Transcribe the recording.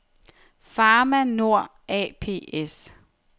Pharma Nord ApS